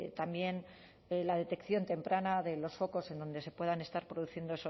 también la detección temprana de los focos en donde se puedan estar produciendo